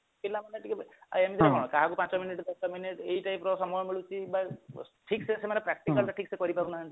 ପିଲାମାନେ ଟିକେ ଏମତିରେ କଣ କାହାକୁ ପାଞ୍ଚ minute ଦଶ minute ଏହି type ର ସମୟ ମିଳୁଛି ବା ଠିକସେ ସେମାନେ practical ଟା ଠିକସେ କରିପାରୁନାହାନ୍ତି